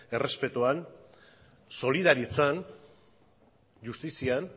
errespetuan solidaritzan justizian